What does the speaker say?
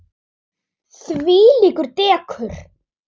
Þvílíkt dekur.